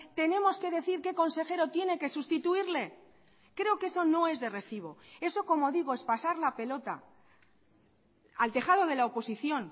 tenemos que decir qué consejero tiene que sustituirle creo que eso no es de recibo eso como digo es pasar la pelota al tejado de la oposición